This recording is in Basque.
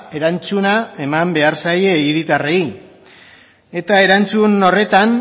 erantzuna eman behar zaie hiritarrei eta erantzun horretan